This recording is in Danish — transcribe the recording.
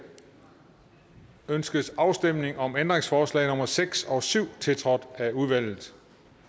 ønskes afstemning om ændringsforslag nummer seks og syv tiltrådt af udvalget